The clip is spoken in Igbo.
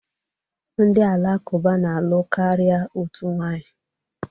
Ndị Alakụba na-alụ karịa otu nwanyị